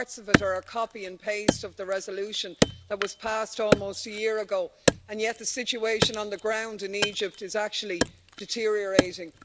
Parts of it are a copy and paste of the resolution that was passed almost a year ago, and yet the situation on the ground in Egypt is actually deteriorating.